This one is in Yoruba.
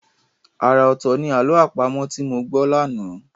Ara ọ̀tọ̀ ní àlọ́ àpamọ̀ tí mo gbọ́ lánàá.